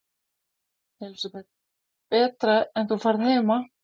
Elísabet: Betra en þú færð heima?